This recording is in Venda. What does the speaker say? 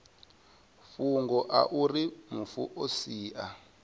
fhungo auri mufu o sia